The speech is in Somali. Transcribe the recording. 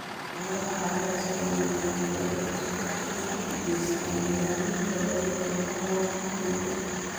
Noolaha carrada sida nematodes waxay gacan ka geystaan nidaaminta wareegga nafaqooyinka ciidda.